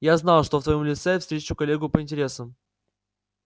я знал что в твоём лице встречу коллегу по интересам